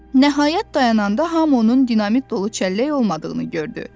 Nəhayət, dayananda hamı onun dinamit dolu çəllək olmadığını gördü.